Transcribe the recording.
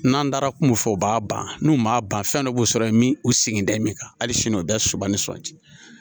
N'an taara kungo fɔ u b'a ban n'u m'a ban fɛn dɔ b'u sɔrɔ yen u segin tɛ min kan hali sini o daba ni sɔ di